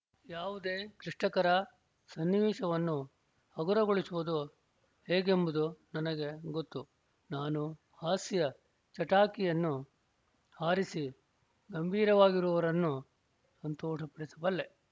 ಯಾವುದೇ ಕ್ಲಿಷ್ಟಕರ ಸನ್ನಿವೇಶವನ್ನು ಹಗುರಗೊಳಿಸುವುದು ಹೇಗೆಂಬುದು ನನಗೆ ಗೊತ್ತು ನಾನು ಹಾಸ್ಯ ಚಟಾಕಿಯನ್ನು ಹಾರಿಸಿ ಗಂಭೀರವಾಗಿರುವವರನ್ನು ಸಂತೋಷಪಡಿಸಬಲ್ಲೆ